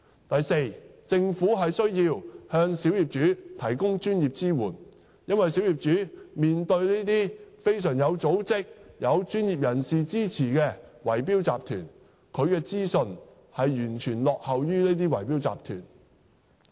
第四，政府必須向小業主提供專業支援，因為小業主面對這些非常有組織、有專業人士支持的圍標集團，他們的資訊完全落後於這些圍標集團。